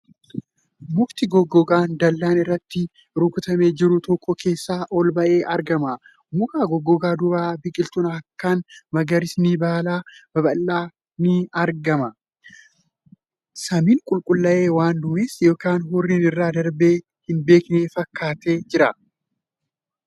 Mukti goggogaan dallaan irratti rukatamee jiru tokko keessaa ol ba'ee argama. Muka goggogaa duuba biqiltuun akkaan magariisni baala babal'aa ni argama. Samiin qulqullaa'ee waan duumessi yookan hurriin irra darbee hin beekne fakkaatee jira .